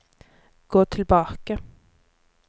gå tilbake